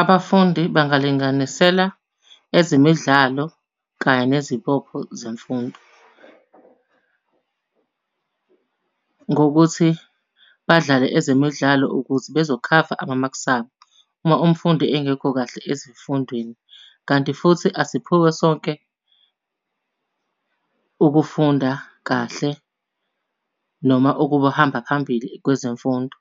Abafundi bangalinganisela ezemidlalo kanye nezibopho zemfundo. Ngokuthi badlale ezemidlalo ukuze bezokhava amamaks abo uma umfundi engekho kahle ezifundweni. Kanti futhi asiphiwe sonke ukufunda kahle noma ukuhamba phambili kwezemfundo.